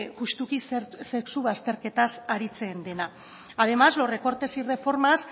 justuki sexu bazterketaz aritzen dena además los recortes y reformas